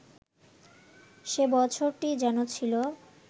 সে বছরটিই যেন ছিল